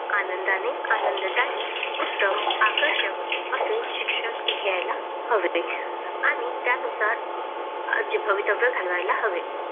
आनंदाने आनंददायी उत्तम आकर्षक असे शिक्षण घ्यायला हवे आणि त्यानुसार भावीतव्य घालवायला हवे